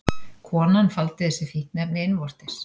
Konan faldi þessi fíkniefni innvortis